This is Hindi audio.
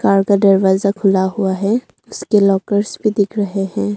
कार का दरवाजा खुला हुआ है इसके लॉकर्स भी दिख रहे हैं।